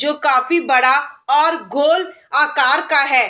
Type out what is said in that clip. जो काफी बड़ा और गोल आकार का है।